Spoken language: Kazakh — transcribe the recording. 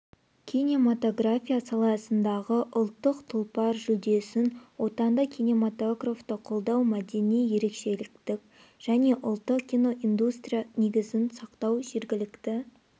кинематография саласындағы ұлттық тұлпар жүлдесін отандық кинематографты қолдау мәдени ерекшелікті және ұлттық киноиндустрия негізін сақтау жергілікті